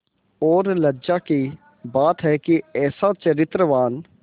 और लज्जा की बात है कि ऐसा चरित्रवान